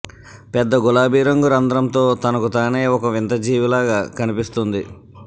పెద్ద గులాబీ రంగు రంధ్రంతో తనకు తానే ఒక వింత జీవిలాగా కనిపిస్తోంది